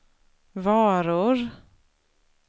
varor